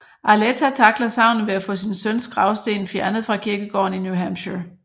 Arleta tackler savnet ved at få sin søns gravsten fjernet fra kirkegården i New Hampshire